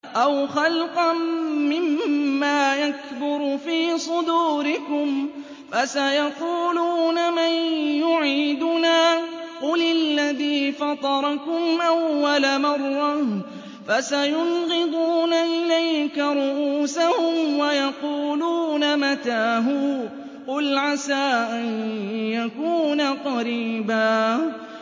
أَوْ خَلْقًا مِّمَّا يَكْبُرُ فِي صُدُورِكُمْ ۚ فَسَيَقُولُونَ مَن يُعِيدُنَا ۖ قُلِ الَّذِي فَطَرَكُمْ أَوَّلَ مَرَّةٍ ۚ فَسَيُنْغِضُونَ إِلَيْكَ رُءُوسَهُمْ وَيَقُولُونَ مَتَىٰ هُوَ ۖ قُلْ عَسَىٰ أَن يَكُونَ قَرِيبًا